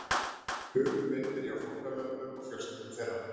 Hugur minn er hjá fórnarlömbum og fjölskyldum þeirra.